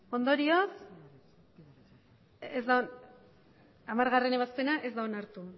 ondorioz hamargarrena ebazpena ez da onartu